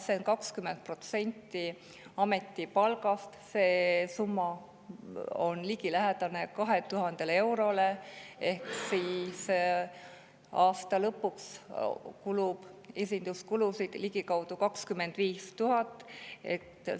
See summa on 20% ametipalgast, see on ligilähedaselt 2000 eurot kuus ja 25 000 eurot aastas.